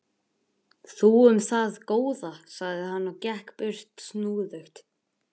Þú um það, góða, sagði hann og gekk burt snúðugt.